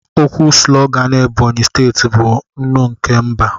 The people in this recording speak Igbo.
Okwu sulogan Ebonyi steeti bụ "Nnụ nke mba"